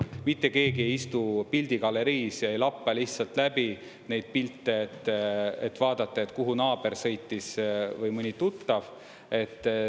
Mitte keegi ei istu pildigaleriis ja ei lappa lihtsalt läbi neid pilte, et vaadata, kuhu naaber sõitis või mõni tuttav.